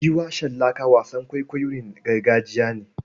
Giwa shallaka wasan kwaikwayon gargajiya ne.